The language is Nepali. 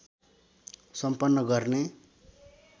सम्पन्न गर्ने